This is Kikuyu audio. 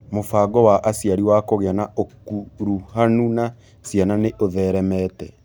Mũbango wa aciari wa kũgĩa na ũkuruhanu na ciana nĩ ũtheremete.